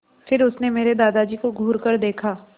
फिर उसने मेरे दादाजी को घूरकर देखा